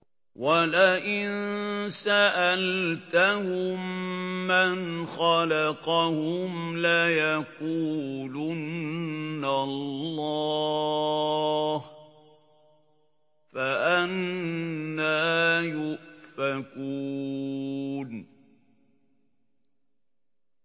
وَلَئِن سَأَلْتَهُم مَّنْ خَلَقَهُمْ لَيَقُولُنَّ اللَّهُ ۖ فَأَنَّىٰ يُؤْفَكُونَ